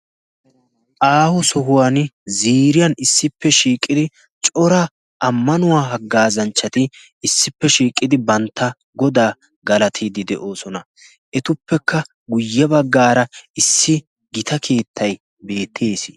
aahu sohuwan ziriyan issippe shiiqqidi cora ammanuwaa haggaazanchchati issippe shiiqqidi bantta godaa galatiiddi de'oosona etuppekka guyye baggaara issi gita keettay beettiis